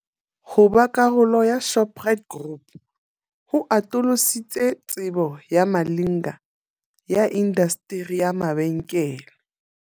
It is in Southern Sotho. Ho ba karolo ya Shoprite Group ho atolositse tsebo ya Malinga ya indasteri ya mabenkele.